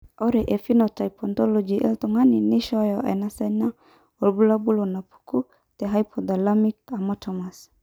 Ore phenotype ontology etung'ani neishooyo enasiana oorbulabul onaapuku tehypothalamic hamartomas.